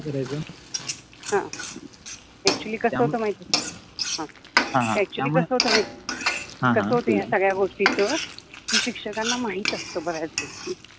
करायचो ह अ‍ॅक्च्युअलि कस होत माहिति आहे ह ह अ‍ॅक्च्युअलि कस होत माहिति आहे कस होत या सगळ्या गोष्टीच कि शिक्षकाना माहित असत बऱ्याच गोष्टी